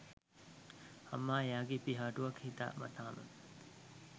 අම්මා එයාගෙ පිහාටුවක් හිතා මතාම